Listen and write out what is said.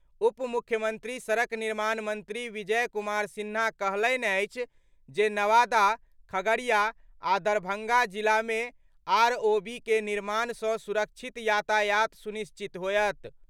उप मुख्यमंत्री सड़क निर्माण मंत्री विजय कुमार सिन्हा कहलनि अछि जे नवादा, खगड़िया आ दरभंगा जिला मे आरओबी के निर्माण सँ सुरक्षित यातायात सुनिश्चित होएत।